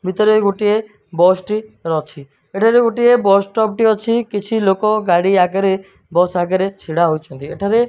ଭିତରେ ଗୋଟିଏ ବସ୍ ଟି ର ଅଛି। ଏଠାରେ ଗୋଟିଏ ବସ୍ ଷ୍ଟପ୍ ଟିଏ ଅଛି। କିଛି ଲୋକ ଗାଡ଼ି ଆଗରେ ବସ୍ ଆଗରେ ଛିଡା ହୋଇଛନ୍ତି। ଏଠାରେ --